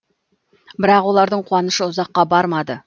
бірақ олардың қуанышы ұзаққа бармады